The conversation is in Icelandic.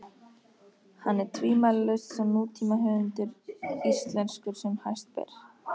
Hann er tvímælalaust sá nútímahöfundur íslenskur sem hæst ber.